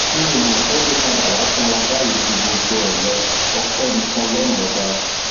mi ò mọ pé ó lè padà wàá sanra báyìí ju gbogbo ẹ lọ ọpẹ ní fún ọlọrun ọba